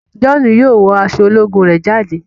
John yóò wọ aṣọ ológun rẹ jáde.